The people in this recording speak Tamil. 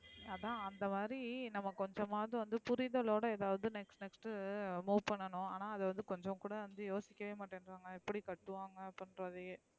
அதான் அந்த மாதிரி நம்ம கொஞ்சமாது வந்து புரிதலோட எதாவது next next move பண்ணும் அதா வந்து கொஞ்சம் கூட வந்து யோசிக்கவே மட்டேன்க்ராங்க எப்டி கட்டுவாங்க அப்டின்றத.